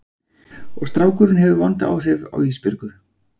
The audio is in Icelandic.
Og strákurinn hefur vond áhrif á Ísbjörgu.